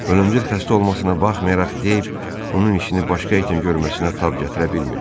Ölümcül xəstə olmasına baxmayaraq Deyv onun işini başqa itin görməsinə tab gətirə bilmirdi.